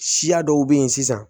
Siya dɔw be yen sisan